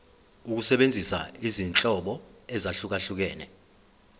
ukusebenzisa izinhlobo ezahlukehlukene